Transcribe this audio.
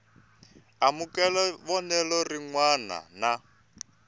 amukela vonelo rin wana na